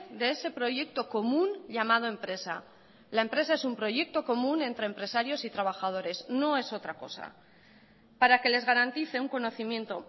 de ese proyecto común llamado empresa la empresa es un proyecto común entre empresarios y trabajadores no es otra cosa para que les garantice un conocimiento